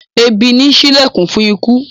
Ebì nì sí ìlẹkùn fun ikú